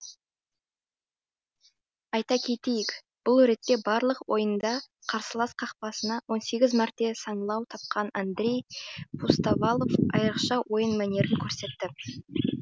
айта кетейік бұл ретте барлық ойында қарсылас қақпасынан он сегіз мәрте саңылау тапқан андрей пустовалов айрықша ойын мәнерін көрсетті